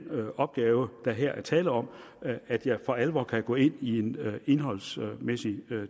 opgave der her er tale om at jeg for alvor kan gå ind i en indholdsmæssig